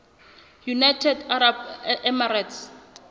united arab emirates